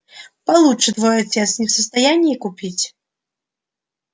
получше твой отец не в состоянии купить